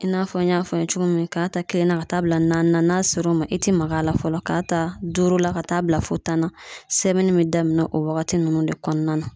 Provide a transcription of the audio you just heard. I n'a fɔ n y'a fɔ a ye cogo min k'a ta kelen na ka taa bila na n'a sera o ma i te mag'a la fɔlɔ k'a ta duuru la ka taa bila fɔ tan na sɛbɛnni be daminɛ o wagati nunnu de kɔnɔna na